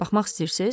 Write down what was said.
Baxmaq istəyirsiz?